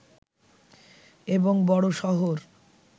এবং বড় শহর